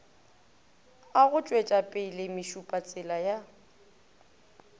a go tšwetšapele mešupatsela ya